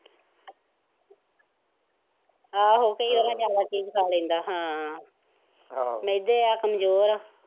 ਆਹੋ ਕਈ ਵਾਰ ਜਾਨਵਰ ਚੀਜ਼ ਖਾ ਲੈਂਦਾ ਹਾਂ, ਮਿਹਦੇ ਆ, ਕਮਜ਼ੋਰ ਆ।